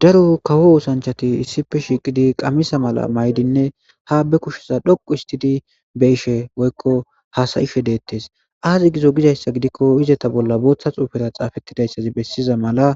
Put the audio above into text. Daru kawo usanchati issife shiqidi qammisa mala maydinne ha be kushiza dhoqu histidi be ishe woykko hasayishe deettes aazi gizo gidayssa gidikko izeta bolla booththa xuufera xaafettidayssazi bessiza mala